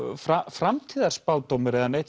framtíðarspádómur eða neitt